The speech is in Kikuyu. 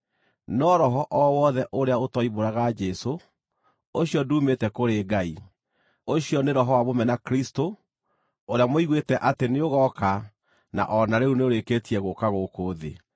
no roho o wothe ũrĩa ũtoimbũraga Jesũ, ũcio nduumĩte kũrĩ Ngai. Ũcio nĩ roho wa mũmena-Kristũ, ũrĩa mũiguĩte atĩ nĩũgooka na o na rĩu nĩũrĩkĩtie gũũka gũkũ thĩ.